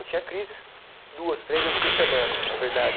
Eu tinha crises duas, três vezes por semana, é verdade.